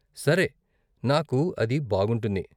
సరే, నాకు అది బాగుంటుంది.